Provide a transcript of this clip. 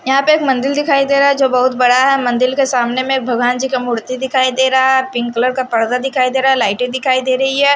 यहां पे एक मंदिर दिखाई दे रहा है जो बहुत बड़ा है मंदिर के सामने में भगवान जी का मूर्ति दिखाई दे रहा है पिंक कलर का पर्दा दिखाई दे रहा है लायटे दिखाई दे रही है।